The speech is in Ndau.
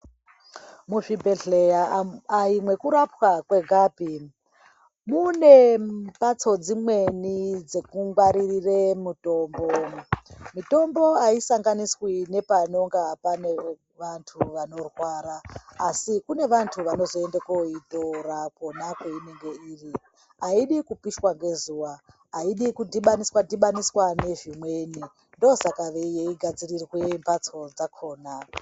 Muzvibhehleya ayimwekirapwa mwegapi. Mune mbatso dzimweni dzekungwaririre mitombo. Mitombo ayisabganiswi nepanenge pane antu anorwara asi kune vantu vanozoende koyitorwa kwonako kweinenga iri. Ayidi kupishwa ngezuwa, ayidi kudhibhaniswa dhibhaniswa nezvimweni ndosaka yeigadzirirw mbatso dzakona.